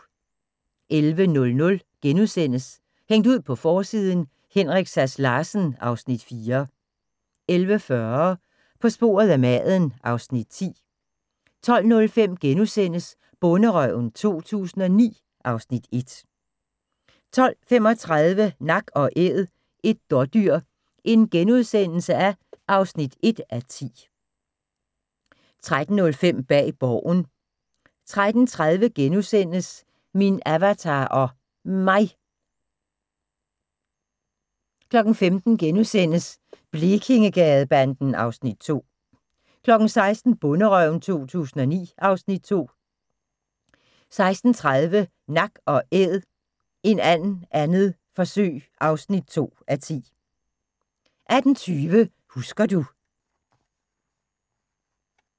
11:00: Hængt ud på forsiden: Henrik Sass Larsen (Afs. 4)* 11:40: På sporet af maden (Afs. 10) 12:05: Bonderøven 2009 (Afs. 1)* 12:35: Nak & æd – et dådyr (1:10)* 13:05: Bag Borgen 13:30: Min Avatar og Mig * 15:00: Blekingegadebanden (Afs. 2)* 16:00: Bonderøven 2009 (Afs. 2) 16:30: Nak & æd – en and 2. forsøg (2:10) 18:20: Husker du ...